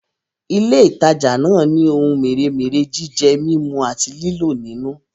Ilé ìtajà náà ni ohun mèremère jíjẹ, mímú àti lílò nínú